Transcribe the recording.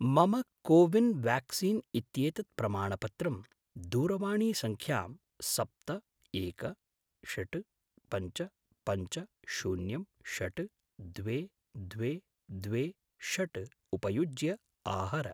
मम CoWIN vaccine इत्येतत् प्रमाणपत्रं दूरवाणीसङ्ख्यां सप्त एक षट् पञ्च पञ्च शून्यं षट् द्वे द्वे द्वे षट् उपयुज्य आहर।